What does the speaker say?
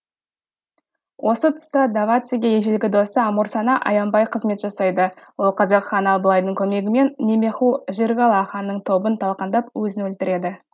осы тұста давациге ежелгі досы амурсана аянбай қызмет жасайды ол қазақ ханы абылайдың көмегімен немеху жиргала ханның тобын талқандап өзін өлтіреді